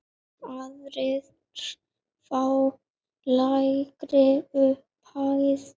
Aðrir fá lægri upphæð.